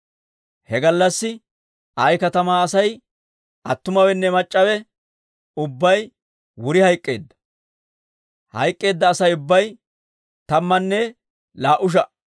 He gallassi Ayi katamaa Asay attumawenne mac'c'awe ubbay wuri hayk'k'eedda; hayk'k'eedda Asay ubbay tammanne laa"u sha"a.